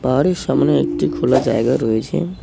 পাহাড়ের সামনে একটি খোলা জায়গা রয়েছে।